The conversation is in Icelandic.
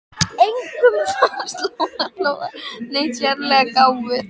Engum fannst Lóa Lóa neitt sérlega gáfuð.